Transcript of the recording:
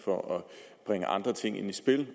for at bringe andre ting i spil